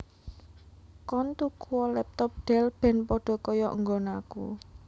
Koen tukuo laptop Dell ben podo koyok nggonanku